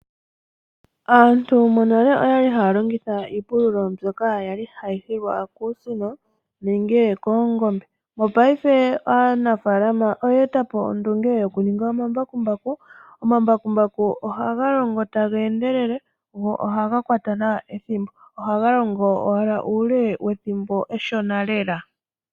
Aantu monale oyali haya longitha iipululo mbyoka yali hayi hilwa kuusino nenge koongombe. Mopaife aanafalama oye eta po ondunge yokuninga omambakumbaku. Ohaga longo taga endelele go ohaga kwata nawa ethimbo nohaga longo uuke wethimbo eshona lela.